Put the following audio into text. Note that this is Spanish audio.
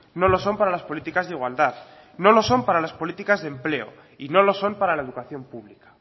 no lo son para las políticas de igualdad no lo son para las políticas de empleo y no lo son para la educación pública